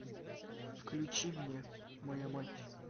включи мне моя мать